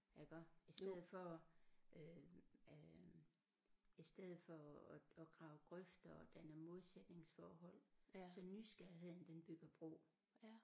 Iggå i stedet for øh øh i stedet for at at grave grøfter og danne modsætningsforhold så nysgerrigheden den bygger bro